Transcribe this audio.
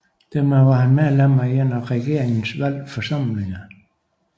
Dermed var han medlem af en af regeringens valgte forsamlinger